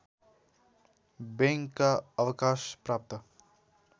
बैंकका अवकाशप्राप्त